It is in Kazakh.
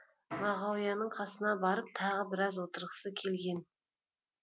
мағауияның қасына барып тағы біраз отырғысы келген